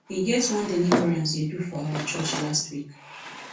e get one deliverance dey do for church last week